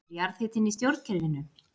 Stendur jarðhitinn í stjórnkerfinu